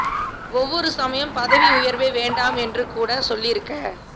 ஒவ்வொரு சமயம் பதவி உயர்வே வேண்டாம் என்று கூட சொல்லியிருக்க